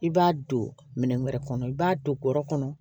I b'a don minɛn wɛrɛ kɔnɔ i b'a don bɔrɛ kɔnɔ